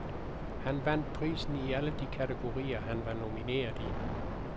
Han vandt prisen i alle de kategorier, han var nomineret i.